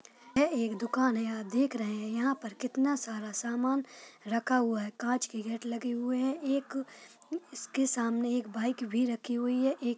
यह एक दुकान है आप देख रहे हैं यहाँ पर कितना सारा सामान रखा हुआ है| कांच के गेट लगे हुए हैं| एक इसके सामने एक बाइक भी रखी हुई है एक--